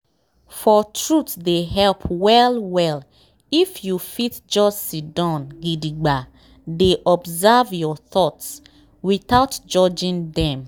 for truthe dey help well well if you fit just siddon gidigba dey observe your thoughts without judging dem.